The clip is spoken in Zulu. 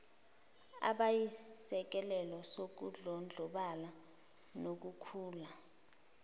abayisisekelo sokudlondlobala nokukhula